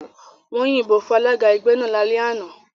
Wọ́n yìnbọn fún alága ẹgbẹ́ náà lálẹ́ àná.